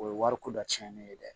O ye wari ko dɔ cɛnnen ye dɛ